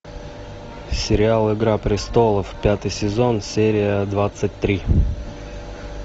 сериал игра престолов пятый сезон серия двадцать три